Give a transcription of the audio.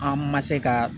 An ma se ka